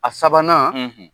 A sabanan